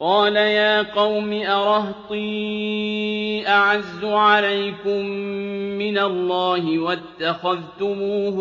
قَالَ يَا قَوْمِ أَرَهْطِي أَعَزُّ عَلَيْكُم مِّنَ اللَّهِ وَاتَّخَذْتُمُوهُ